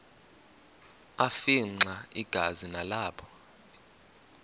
afimxa igazi nalapho